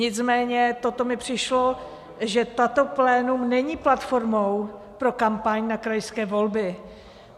Nicméně toto mi přišlo, že toto plénum není platformou pro kampaň na krajské volby.